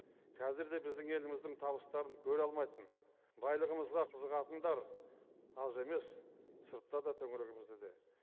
қазір де біздің еліміздің табыстарын көре алмайтын байлығымызға қызығатындар аз емес сыртта да төңірегімізде де